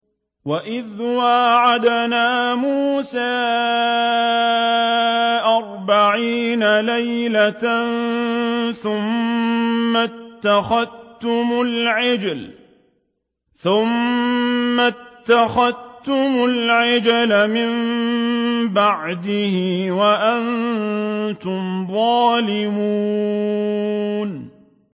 وَإِذْ وَاعَدْنَا مُوسَىٰ أَرْبَعِينَ لَيْلَةً ثُمَّ اتَّخَذْتُمُ الْعِجْلَ مِن بَعْدِهِ وَأَنتُمْ ظَالِمُونَ